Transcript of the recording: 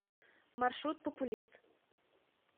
маршрут популист